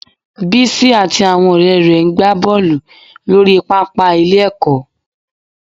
Bísí àti àwọn ọ̀rẹ́ rẹ̀ ń ń gba bọ́ọ̀lù lórí pàápàá ilé-ẹ̀kọ́